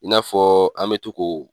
I n'a fɔ an mɛ to k'o